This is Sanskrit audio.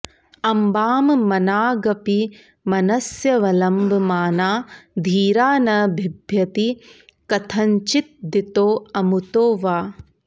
अम्बां मनागपि मनस्यवलम्बमाना धीरा न बिभ्यति कथञ्चिदितोऽमुतो वा